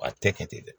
A tɛ kɛ ten dɛ